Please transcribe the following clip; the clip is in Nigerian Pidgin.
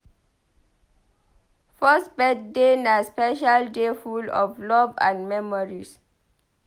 First birthday na special day full of love and memories.